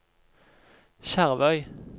Skjervøy